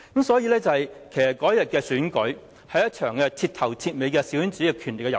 所以，其實當日的選舉，只是一場徹頭徹尾的小圈子的權利和遊戲。